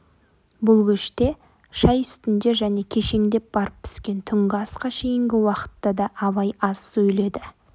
бұл кеште шай үстінде және кешеңдеп барып піскен түнгі асқа шейінгі уақытта да абай аз сөйледі